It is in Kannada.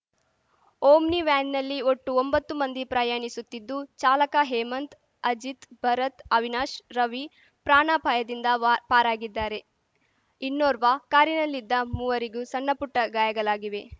ಒಮ್ನಿ ವ್ಯಾನಿನಲ್ಲಿ ಒಟ್ಟು ಒಂಬತ್ತು ಮಂದಿ ಪ್ರಯಾಣಿಸುತ್ತಿದ್ದು ಚಾಲಕ ಹೇಮಂತ್‌ ಅಜಿತ್‌ ಭರತ್‌ ಅವಿನಾಶ್‌ ರವಿ ಪ್ರಾಣಾಪಾಯದಿಂದ ವಾ ಪಾರಾಗಿದ್ದಾರೆ ಇನ್ನೋರ್ವಾ ಕಾರಿನಲ್ಲಿದ್ದ ಮೂವರಿಗೂ ಸಣ್ಣಪುಟ್ಟಗಾಯಗಾಲಾಗಿವೆ